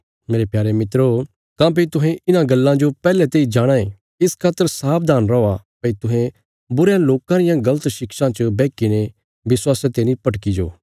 मेरे प्यारे मित्रो काँह्भई तुहें इन्हां गल्लां जो पैहले तेई जाणाँ ये इस खातर सावधान रौआ भई तुहें बुरयां लोकां रियां गल़त शिक्षां च बैहकीने विश्वासा ते नीं भटकी जाओ